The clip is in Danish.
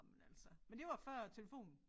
Ej men altså men det var før telefonen